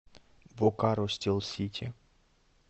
бокаро стил сити